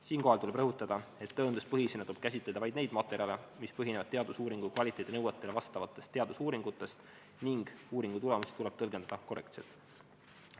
Siinkohal tuleb rõhutada, et tõenduspõhisena tuleb käsitleda vaid neid materjale, mis pärinevad teadusuuringu kvaliteedinõuetele vastavatest teadusuuringutest, ning uuringutulemusi tuleb tõlgendada korrektselt.